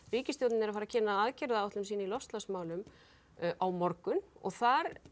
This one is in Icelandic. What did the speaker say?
ríkisstjórnin að fara að kynna aðgerðaáætlun sína í loftslagsmálum á morgun og þar